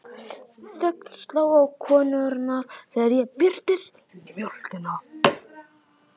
Þögn sló á konurnar þegar ég birtist með mjólkina.